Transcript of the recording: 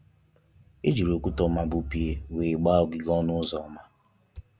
Ejiri okwute oma bu pieeel wee gbaa ogige ọnụ ụzọ ama.